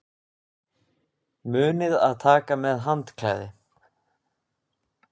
Munið að taka með handklæði!